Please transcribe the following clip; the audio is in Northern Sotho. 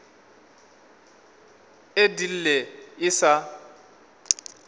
e di lle e sa